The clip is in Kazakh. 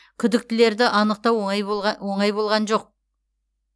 күдіктілерді анықтау оңай болған жоқ